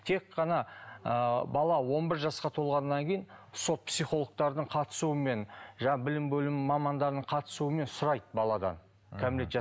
тек қана ыыы бала он бір жасқа толғаннан кейін сот психологтардың қатысуымен жаңағы білім бөлімінің мамандарының қатысуымен сұрайды баладан кәмелет